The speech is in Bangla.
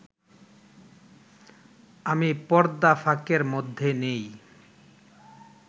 আমি পর্দা ফাঁকের মধ্যে নেই